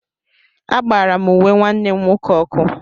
Agbara m uwe nwanne m nwoke ọkụ.